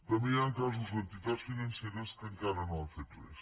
també hi han casos d’entitats financeres que encara no han fet res